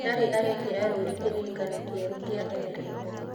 Ndarĩ arekira rũũri kĩrĩĩkanĩro kĩerũ kĩa Emirates.